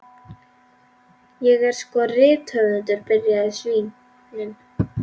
Ég er sko rithöfundur, byrjaði Svíinn.